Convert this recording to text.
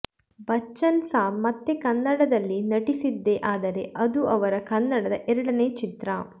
ಬಚ್ಚನ್ ಸಾಬ್ ಮತ್ತೆ ಕನ್ನಡದಲ್ಲಿ ನಟಿಸಿದ್ದೇ ಆದರೆ ಅದು ಅವರ ಕನ್ನಡದ ಎರಡನೇ ಚಿತ್ರ